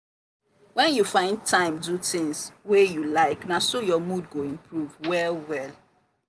when you find time do tings wey you like na so your mood go improve well well.